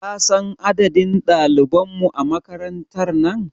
Kasan adadin ɗaliban mu a makarantar nan?